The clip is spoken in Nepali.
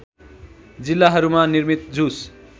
जिल्लाहरूमा निर्मित जुस